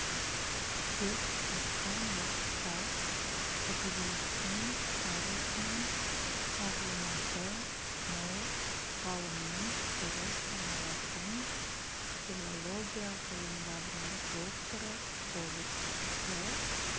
деп жатқан уақытта әдебиеттің тарихынан мағлұматы мол ғалымның бірі саналатын филология ғылымдарының докторы болып шықты